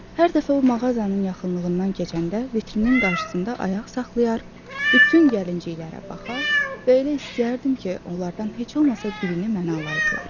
Hər dəfə o mağazanın yaxınlığından keçəndə vitrinin qarşısında ayaq saxlayar, bütün gəlinciklərə baxar və elə istəyərdim ki, onlardan heç olmasa birini mənə alaydılar.